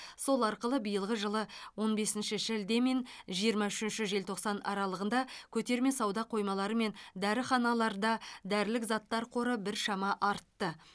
сол арқылы биылғы жылғы он бесінші шілде мен жиырма үшінші желтоқсан аралығында көтерме сауда қоймалары мен дәріханаларда дәрілік заттар қоры біршама артты